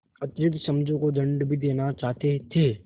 अतिरिक्त समझू को दंड भी देना चाहते थे